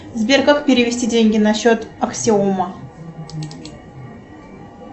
сбер как перевести деньги на счет аксиома